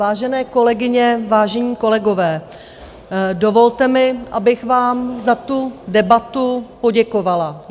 Vážené kolegyně, vážení kolegové, dovolte mi, abych vám za tu debatu poděkovala.